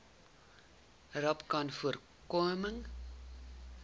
rapcanvoorkoming